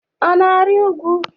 Ọ na-arị ugwu?